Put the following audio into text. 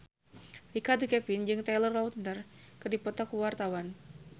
Richard Kevin jeung Taylor Lautner keur dipoto ku wartawan